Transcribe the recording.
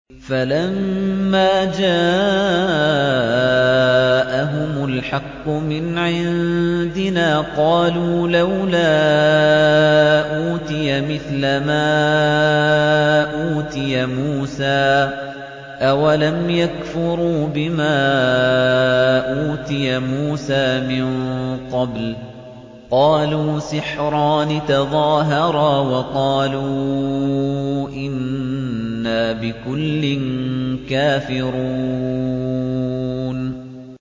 فَلَمَّا جَاءَهُمُ الْحَقُّ مِنْ عِندِنَا قَالُوا لَوْلَا أُوتِيَ مِثْلَ مَا أُوتِيَ مُوسَىٰ ۚ أَوَلَمْ يَكْفُرُوا بِمَا أُوتِيَ مُوسَىٰ مِن قَبْلُ ۖ قَالُوا سِحْرَانِ تَظَاهَرَا وَقَالُوا إِنَّا بِكُلٍّ كَافِرُونَ